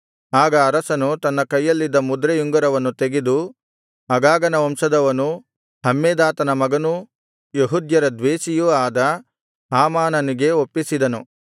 ಆಗ ಅರಸನು ತನ್ನ ಕೈಯಲ್ಲಿದ್ದ ಮುದ್ರೆಯುಂಗುರವನ್ನು ತೆಗೆದು ಅಗಾಗನ ವಂಶದವನೂ ಹಮ್ಮೆದಾತನ ಮಗನೂ ಯೆಹೂದ್ಯರ ದ್ವೇಷಿಯೂ ಆದ ಹಾಮಾನನಿಗೆ ಒಪ್ಪಿಸಿದನು